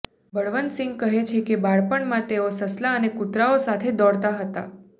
બળવંતસિંહ કહે છે કે બાળપણમાં તેઓ સસલાં અને કૂતરાંઓ સાથે દોડતા હતા